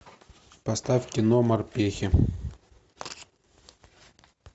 поставь кино морпехи